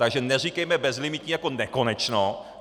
Takže neříkejme bezlimitní jako nekonečno.